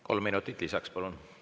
Kolm minutit lisaks, palun!